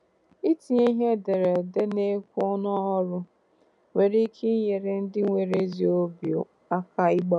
Itinye ihe ederede a na-ekwu n’ọrụ nwere ike inyere ndị nwere ezi obi aka ịgbanwe